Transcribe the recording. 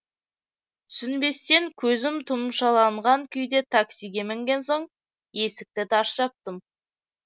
түсінбестен көзім тұмшаланған күйде таксиге мінген соң есікті тарс жаптым